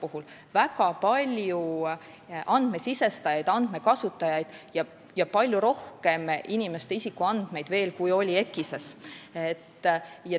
Seal on väga palju andmesisestajaid ja andmekasutajaid ning seal on veel palju rohkem inimeste isikuandmeid kui EKIS-es.